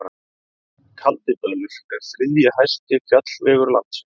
Kaldidalur er þriðji hæsti fjallvegur landsins.